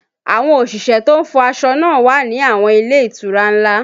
Àwọn òṣìṣẹ́ to ń fọ aṣọ náà wà ní àwọn ilé ìtura ńlá